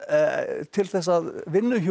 til að